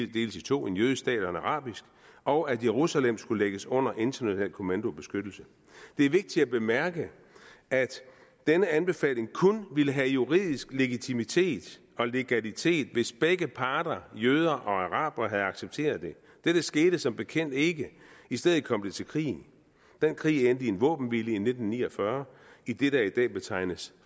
to en jødisk stat og en arabisk og at jerusalem skulle lægges under international kommando og beskyttelse det er vigtigt at bemærke at den anbefaling kun ville have juridisk legitimitet og legalitet hvis begge parter jøder og arabere havde accepteret det dette skete som bekendt ikke i stedet kom det til krigen den krig endte i en våbenhvile i nitten ni og fyrre i det der i dag betegnes